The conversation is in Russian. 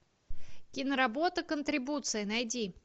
киноработа контрибуция найди